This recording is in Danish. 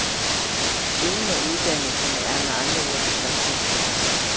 Ingen af uddannelserne er med andre ord tilfredsstillende.